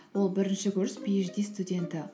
ол бірінші курс пиэйчди студенті